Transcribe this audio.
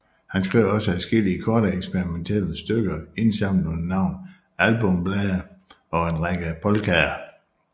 Han skrev også adskillige korte eksperimentelle stykker indsamlet under navnet Albumblade og en række polkaer